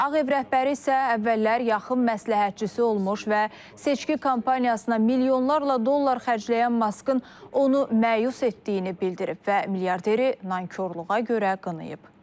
Ağ Ev rəhbəri isə əvvəllər yaxın məsləhətçisi olmuş və seçki kampaniyasına milyonlarla dollar xərcləyən Maskın onu məyus etdiyini bildirib və milyarderi nankorluğa görə qınayıb.